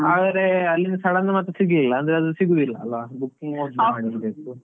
ಹಾಗಾರೆ ಅಲ್ಲಿಂದ sudden ಮತ್ತೆ ಸಿಗ್ಲಿಲ್ಲ ಅಂದ್ರೆ ಅದು ಸಿಗುದಿಲ್ಲ ಅಲಾ, booking ಮೊದ್ಲೇ ಮಾಡಿರ್ಬೇಕು.